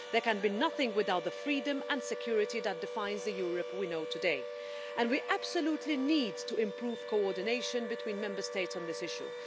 There can be nothing without the freedom and security that defines the Europe we know today, and we absolutely need to improve coordination between Member States on this issue.